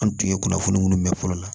An tun ye kunnafoni minnu mɛn fɔlɔ la